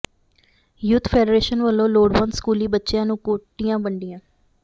youth federation ਵਲੋਂ ਲੋੜਵੰਦ ਸਕੂਲੀ ਬੱਚਿਆਂ ਨੂੰ ਕੋਟੀਆਂ ਵੰਡੀਆਂ